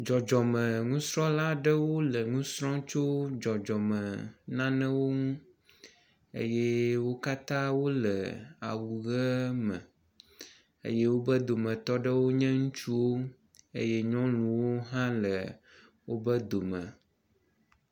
Dzɔdzɔme nusrɔ̃la aɖewo le nu srɔ̃m tso dzɔdzɔme nanewo nu eye wo katã wole awu ʋe me eye woƒe dometɔ ɖewo nye ŋutsuwo eye nyɔnuwo hã le woƒe dome.